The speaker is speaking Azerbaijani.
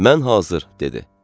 Mən hazır, dedi.